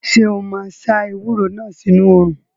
Ṣé o máa sá ewúro náà sínu òrùn?